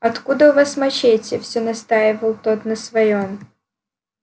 откуда у вас мачете всё настаивал тот на своём